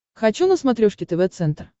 хочу на смотрешке тв центр